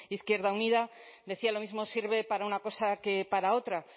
izquierda unida decía lo mismo sirve para una cosa que para otra